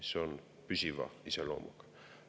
See on püsiva iseloomuga.